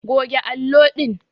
Goge allo din!